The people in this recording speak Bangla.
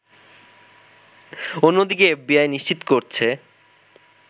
অন্যদিকে এফবিআই নিশ্চিত করছে